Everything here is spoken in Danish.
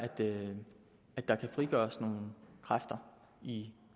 at der kan frigøres nogle kræfter i